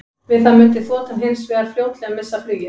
Við það mundi þotan hins vegar fljótlega missa flugið.